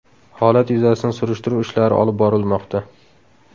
Holat yuzasidan surishtiruv ishlari olib borilmoqda.